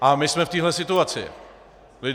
A my jsme v téhle situaci.